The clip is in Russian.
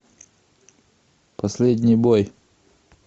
последний бой